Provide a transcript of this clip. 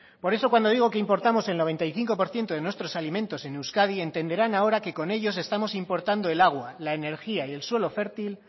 por eso cuando digo que importamos el noventa y cinco por ciento de nuestros alimentos en euskadi entenderán ahora que con ellos estamos importando el agua la energía y el suelo fértil